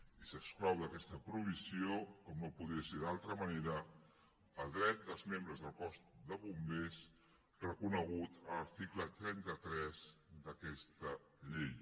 i s’exclou d’aquesta provisió com no podia ser d’altra manera el dret dels membres del cos de bombers reconegut a l’article trenta tres d’aquesta llei